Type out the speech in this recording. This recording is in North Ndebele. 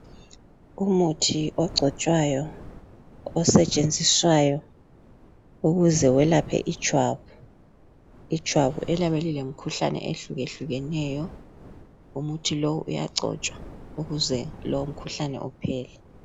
Umuthi ogcotshwayo osetshenziswayo ukuze welaphe ijwabu, ijwabu eliyabe lilemikhuhlane ehlukehlukeneyo umuthi lo uyagcotswa ukuze lowo mkhuhlane uphele